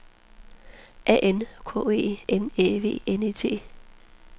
A N K E N Æ V N E T